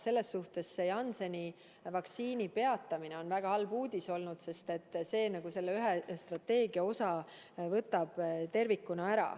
Selles mõttes Jansseni vaktsiini kasutamise peatamine oli väga halb, üks osa meie strateegiast peatus.